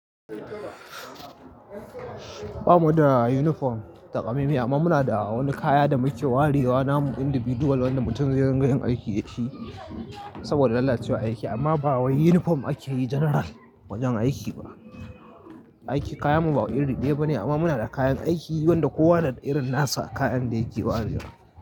Ba mu da uniform ta ƙamaimai amma muna da wani kaya da muke warewa namu individual wanda mutum zai riƙa yin aiki dashi saboda lalacewar aiki amma ba wai uniform ake yi general wajen aiki ba. Aiki kayanmu ba iri ɗaya ba ne amma muna da kayan aiki wanda kowa na da irin nasa kayan da yake warewa.